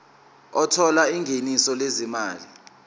othola ingeniso lezimali